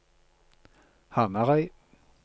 Hamarøy